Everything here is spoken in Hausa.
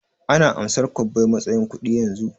Ana amsar kwabbai matsayin kuɗi yanzu?